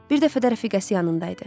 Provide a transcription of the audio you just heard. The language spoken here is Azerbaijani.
Bir dəfə də rəfiqəsi yanında idi.